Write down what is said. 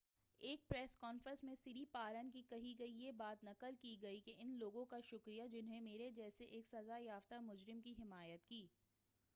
ایک press conference میں سری پارن کی کہی گئی یہ بات نقل کی گئی کہ ان لوگوں کا شکریہ جنھوں میرے جیسے ایک سزا یافتہ مجرم کی حمایت کی